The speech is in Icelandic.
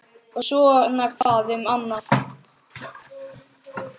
Og svona hvað um annað: